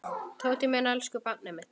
Tóti minn, elsku barnið mitt.